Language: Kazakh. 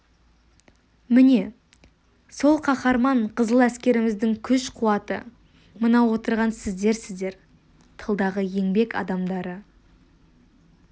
міне сол қаһарман қызыл әскеріміздің күш-қуаты мына отырған сіздерсіздер тылдағы еңбек адамдары